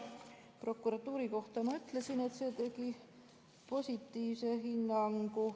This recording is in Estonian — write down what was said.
Prokuratuuri kohta ma ütlesin, et ta andis positiivse hinnangu.